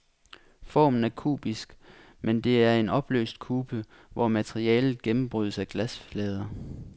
Formen er kubisk, men det er en opløst kube, hvor materialet gennembrydes af glasflader.